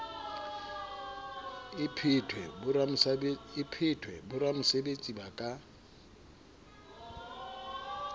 e phethwe boramesebetsi ba ka